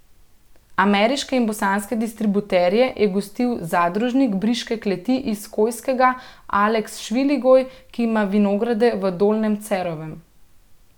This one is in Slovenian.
Ameriške in bosanske distributerje je gostil zadružnik briške kleti iz Kojskega Aleks Šviligoj, ki ima vinograde v Dolnjem Cerovem.